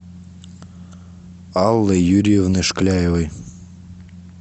аллы юрьевны шкляевой